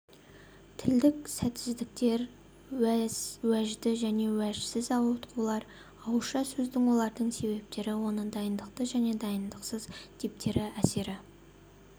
тілдік сәтсіздіктер уәжді және уәжсіз ауытқулар ауызша сөздің олардың себептері оны дайындықты және дайындықсыз типтері әсіре